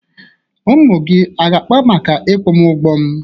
Ụmụ gị aga-akpa maka ịkwụ m ụgwọ m?